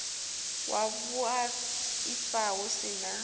wa vhuaifa hu si na